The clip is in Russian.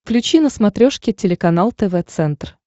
включи на смотрешке телеканал тв центр